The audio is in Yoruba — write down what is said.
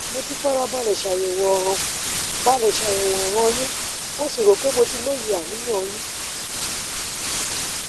mo ti fara balè ṣàyèwò ọràn balè ṣàyèwò ọràn yínmo sì rò pé mo ti lóye àníyàn yín